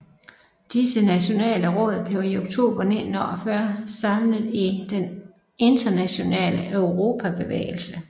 Disse nationale råd blev i oktober 1948 samlet i Den Internationale Europabevægelse